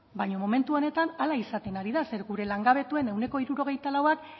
baina momentu honetan hala izaten ari da zeren gure langabetuen ehuneko hirurogeita lauak